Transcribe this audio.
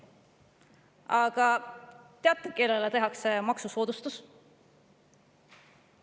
Aga teate, kellele tehakse maksusoodustus?